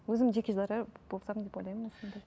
өзім жеке дара болсам деп ойлаймын осындай